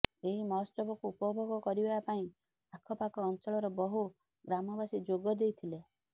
ଏହି ମହୋତ୍ସବକୁ ଉପଭୋଗ କରିବା ପାଇଁ ଆଖପାଖ ଅଂଚଳର ବହୁ ଗ୍ରାମବାସୀ ଯୋଗ ଦେଇଥିଲେ